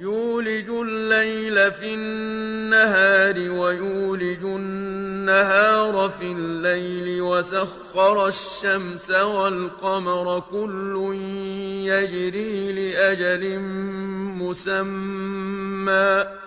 يُولِجُ اللَّيْلَ فِي النَّهَارِ وَيُولِجُ النَّهَارَ فِي اللَّيْلِ وَسَخَّرَ الشَّمْسَ وَالْقَمَرَ كُلٌّ يَجْرِي لِأَجَلٍ مُّسَمًّى ۚ